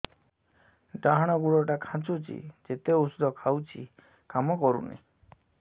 ଡାହାଣ ଗୁଡ଼ ଟା ଖାନ୍ଚୁଚି ଯେତେ ଉଷ୍ଧ ଖାଉଛି କାମ କରୁନି